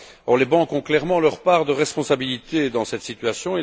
Or, les banques ont clairement leur part de responsabilités dans cette situation.